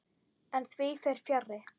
En því fer fjarri.